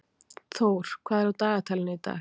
Thór, hvað er á dagatalinu í dag?